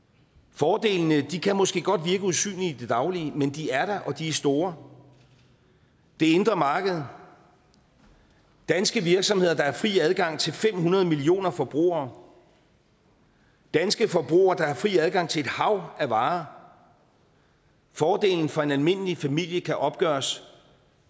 fordelene kan måske godt virke usynlige i det daglige men de er der og de er store det indre marked danske virksomheder der har fri adgang til fem hundrede millioner forbrugere danske forbrugere der har fri adgang til et hav af varer fordelen for en almindelig familie kan opgøres